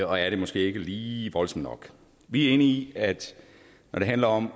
og er det måske ikke lige voldsomt nok vi er enige i at når det handler om